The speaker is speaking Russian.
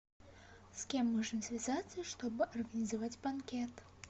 с кем можно связаться чтобы организовать банкет